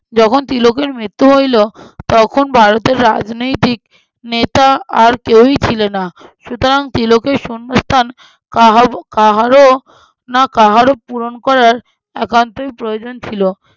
যখন তিলকের মৃত্যু হইল তখন ভারতের রাজনীতিক নেতা আর কেউই ছিলেন না। সুতরাং তিলকের শূন্যস্থান কাহাকে~ কাহারো না কাহারো পূরণ করার একান্তই প্রয়োজন ছিল।